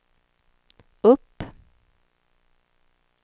upp